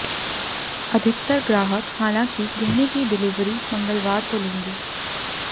अधिकतर ग्राहक हालांकि गहने की डिलीवरी मंगलवार को लेंगे